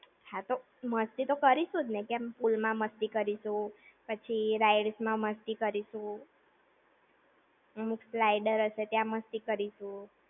હા તો. મસ્તી તો કરીધું જ ને. Pool માં મસ્તી કરીશું, પછી rides માં મસ્તી કરીશું, અમુક slider હશે તયાં મસ્તી કરીશું!